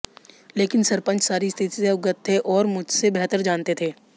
लेकिन सरपंच सारी स्थिति से अवगत थे और मुझसे बेहतर जानते थे